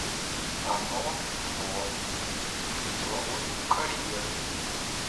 ано во институт деловой карьеры